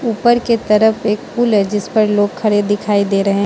ऊपर के तरफ एक पुल है जिस पर लोग खड़े दिखाई दे रहे हैं।